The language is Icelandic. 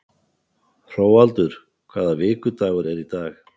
Hróaldur, hvaða vikudagur er í dag?